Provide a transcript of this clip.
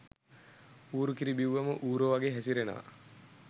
ඌරු කිරි බිව්වම ඌරො වගේ හැසිරෙනව